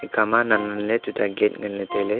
ekhama nannanley tuta gate nganley tailey.